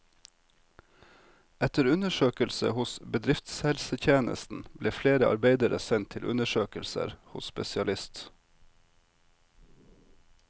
Etter undersøkelse hos bedriftshelsetjenesten ble flere arbeidere sendt til undersøkelser hos spesialist.